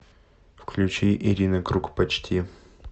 включи ирина круг почти